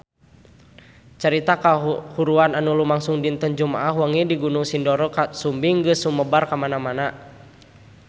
Carita kahuruan anu lumangsung dinten Jumaah wengi di Gunung Sindoro Sumbing geus sumebar kamana-mana